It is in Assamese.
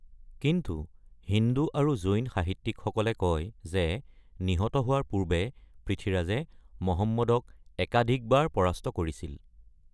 কিন্তু হিন্দু আৰু জৈন সাহিত্যিকসকলে কয় যে নিহত হোৱাৰ পূৰ্বে পৃথ্বীৰাজে মহম্মদক একাধিকবাৰ পৰাস্ত কৰিছিল।